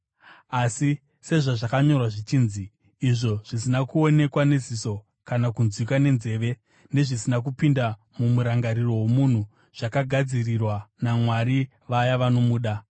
Asi sezvazvakanyorwa zvichinzi: “Hakuna ziso rakaona, hakuna nzeve yakanzwa; hakuna zvakapinda mumurangariro womunhu, zvakagadzirirwa naMwari vaya vanomuda.”